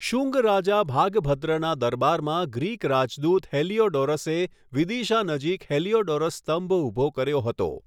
શુંગ રાજા ભાગભદ્રના દરબારમાં ગ્રીક રાજદૂત હેલિયોડોરસે વિદિશા નજીક હેલિયોડોરસ સ્તંભ ઊભો કર્યો હતો.